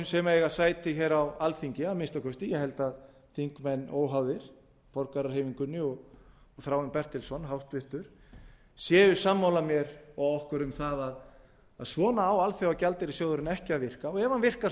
sem eiga sæti á alþingi að minnsta kosti ég held að þingmenn óháðir borgarahreyfingunni og háttvirtur þingmaður þráinn bertelsson séu sammála mér og okkur um að svona á alþjóðagjaldeyrissjóðurinn ekki að virka og ef hann virkar